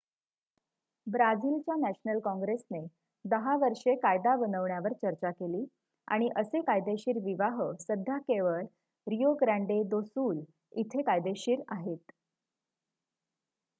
ब्राझिलच्या नॅशनल काँग्रेसने 10 वर्षे कायदा बनवण्यावर चर्चा केली आणि असे कायदेशीर विवाह सध्या केवळ रिओ ग्रँडे दो सुल इथे कायदेशीर आहेत